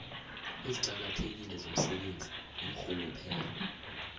eziqakathekile zomsebenzi iinrhuluphelo